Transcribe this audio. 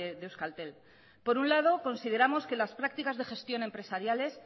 de euskaltel por un lado consideramos que las prácticas de gestión empresariales